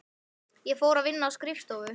Ég fór að vinna á skrifstofu.